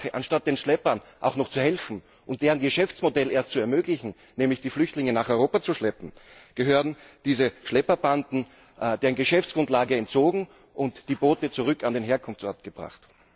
Anstatt den Schleppern auch noch zu helfen und deren Geschäftsmodell erst zu ermöglichen, nämlich die Flüchtlinge nach Europa zu schleppen, gehört diesen Schlepperbanden deren Geschäftsgrundlage entzogen und die Boote zurück an den Herkunftsort gebracht.